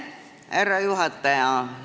Härra juhataja!